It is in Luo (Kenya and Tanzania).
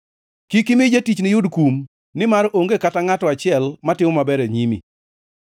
Kik imi jatichni yud kum nimar onge kata ngʼato achiel matimo maber e nyimi.